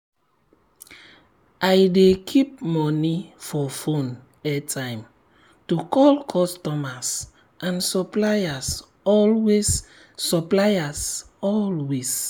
i dey keep moni for phone airtime to call customers and suppliers always suppliers always